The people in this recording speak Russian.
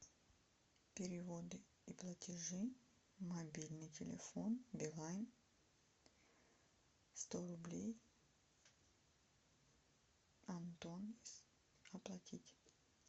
переводы и платежи мобильный телефон билайн сто рублей антон оплатить